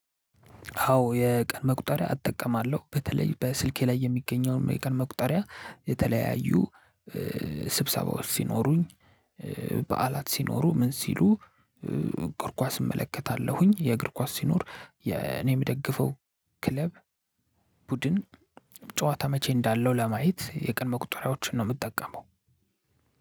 አዎ የቀን መቁጠርያ እጠቀማለው በተለይ በስልኬ ላይ የሚገኘውን የቀን መቁጠርያ የተለያዩ ስብሰባዎች ሲኖሩኝ በዓላት ሲኖሩ ምን ሲሉ እግር ኳስ እመለከታለሁኝ። የእግር ኳስ ሲኖር የኔ የምደግፈው ክለብ ቡድን ጨዋታ መቼ እንዳለው ለማየት የቀን መቁጠሪያዎችን ነው የምጠቀመው።